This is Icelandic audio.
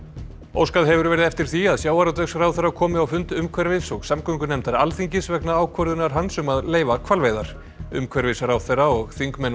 óskað hefur verið eftir því að sjávarútvegsráðherra komi á fund umhverfis og samgöngunefndar Alþingis vegna ákvörðunar hans um að leyfa hvalveiðar umhverfisráðherra og þingmenn